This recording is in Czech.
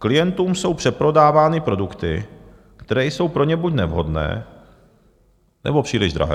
Klientům jsou přeprodávány produkty, které jsou pro ně buď nevhodné, nebo příliš drahé.